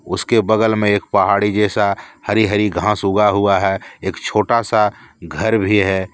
उसके बगल में एक पहाड़ी जैसा हरी हरी घास उगा हुआ है एक छोटा सा घर भी है।